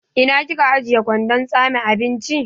Ina kika ajiye kwandon tsame abinci?